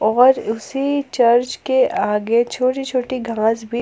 और उसी चर्च के आगे छोटी छोटी घास भी--